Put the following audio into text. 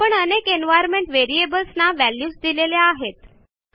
आपण अनेक environment variables ना व्हॅल्यूज दिलेल्या आहेत